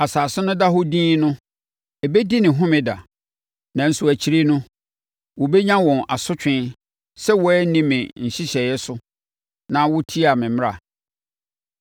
Asase no da hɔ dinn no, ɛbɛdi ne homeda. Nanso akyire no, wɔbɛnya wɔn asotwe sɛ wɔanni me nhyehyɛeɛ so na wɔtiaa me mmara.